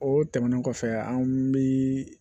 O tɛmɛnen kɔfɛ anw bi